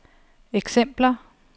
eksempler